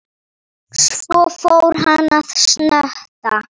Þeir sjúga.